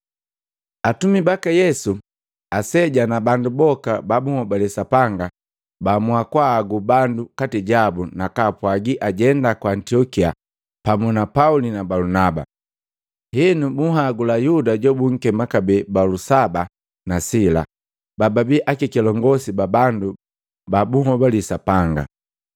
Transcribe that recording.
Atumi baka Yesu, aseja na bandu boka ba bunhobale Sapanga baamua kwaagu bandu nkati jabu nakaapwagi ajenda ku Antiokia pamu na Pauli na Balunaba. Henu, bunhagula Yuda jobunkema kabee Balusaba na Sila babaii akakilongosi ba bandu babahobali Sapanga.